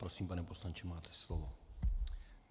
Prosím, pane poslanče, máte slovo.